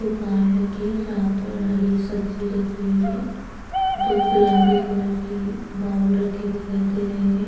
दुकान लगी है जहाँ पर हरी सब्जी रखी हुई है दो गुलाबी कलर की बॉउल रखे दिखाई दे रहे है।